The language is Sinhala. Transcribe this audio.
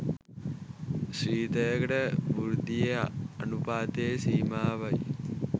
ශ්‍රිතයක වෘද්ධි අනූපාතයේ සීමාවයි.